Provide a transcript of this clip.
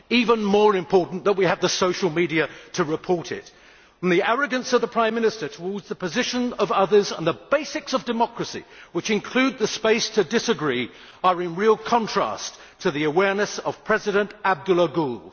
That makes it even more important that we have the social media to report it. The arrogance of the Prime Minister towards the position of others and the basics of democracy, which include the space to disagree, are in real contrast to the awareness of President Abdullah Gül.